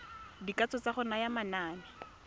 dikatso tsa go naya manane